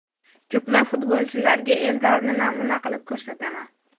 Ko‘plab futbolchilarga Eldorni namuna qilib ko‘rsataman.